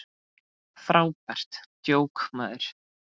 Frábært djók, maður!